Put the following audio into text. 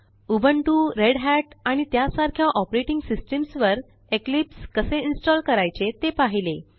Ubuntu Red Hat आणि त्यासारख्या operating systems वर इक्लिप्स कसे installकरायचे ते पाहिले